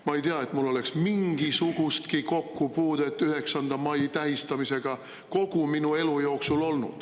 Ma ei tea, et mul oleks mingisugustki kokkupuudet 9. mai tähistamisega kogu minu elu jooksul olnud.